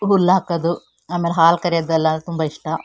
ಹುಲ್ಲು ಹಾಕೋದು ಆಮೇಲೆ ಹಾಲು ಕರೆಯೋದು ಎಲ್ಲ ತುಂಬಾ ಇಷ್ಟ.